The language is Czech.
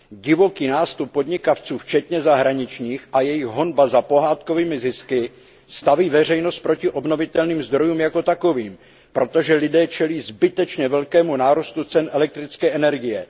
Divoký nástup podnikavců včetně zahraničních a jejich honba za pohádkovými zisky staví veřejnost proti obnovitelným zdrojům jako takovým, protože lidé čelí zbytečně velkému nárůstu cen elektrické energie.